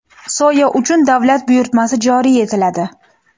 Soya uchun davlat buyurtmasi joriy etiladi.